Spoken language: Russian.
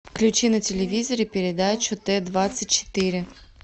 включи на телевизоре передачу т двадцать четыре